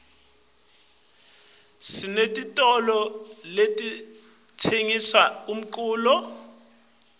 sinetitolo letitsengisa umculo